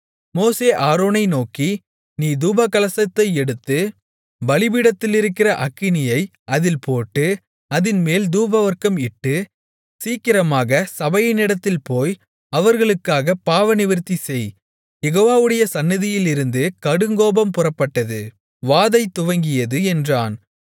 மோசே ஆரோனை நோக்கி நீ தூபகலசத்தை எடுத்து பலிபீடத்திலிருக்கிற அக்கினியை அதில் போட்டு அதின்மேல் தூபவர்க்கம் இட்டு சீக்கிரமாகச் சபையினிடத்தில் போய் அவர்களுக்காகப் பாவநிவிர்த்தி செய் யெகோவாவுடைய சந்நிதியிலிருந்து கடுங்கோபம் புறப்பட்டது வாதை துவங்கியது என்றான்